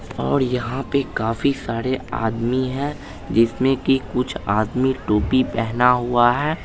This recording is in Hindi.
और यहाँ पे काफी सारे आदमी है जिसमे की कुछ आदमी टोपी पहना हुआ है।